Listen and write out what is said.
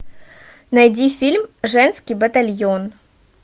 найди фильм женский батальон